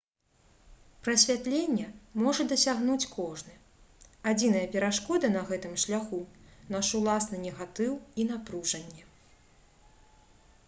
прасвятлення можа дасягнуць кожны адзіная перашкода на гэтым шляху наш уласны негатыў і напружанне